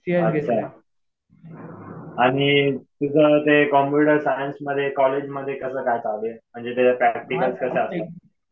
अच्छा. आणि तुझं ते कम्प्युटर सायन्समध्ये कॉलेज मध्ये कसं काय चालू आहे? म्हणजे त्याच्यात प्रॅक्टिकल्स कसे असतात.